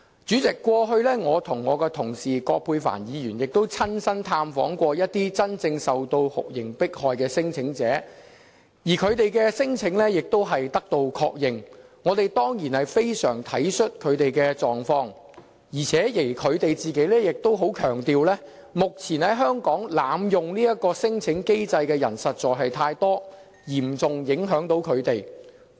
主席，過去我與同事葛珮帆議員亦曾親身探訪一些真正受酷刑迫害的聲請者，而他們的聲請亦獲確認，我們當然非常體恤他們的狀況，而且他們亦強調，目前在香港濫用這項聲請機制的人實在太多，嚴重影響他們。